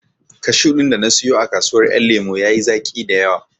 Kashu ɗin da na siyo a kasuwar ƴan lemo ya yi zaƙi dayawa